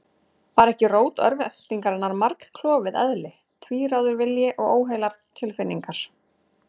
Var ekki rót örvæntingarinnar margklofið eðli, tvíráður vilji og óheilar tilfinningar?